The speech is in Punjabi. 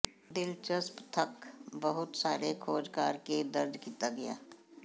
ਦਿਲਚਸਪ ਤੱਥ ਬਹੁਤ ਸਾਰੇ ਖੋਜਕਾਰ ਕੇ ਦਰਜ ਕੀਤਾ ਗਿਆ